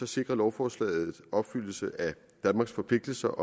sikrer lovforslaget opfyldelse af danmarks forpligtelser